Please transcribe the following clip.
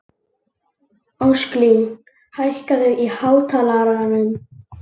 Ósklín, hækkaðu í hátalaranum.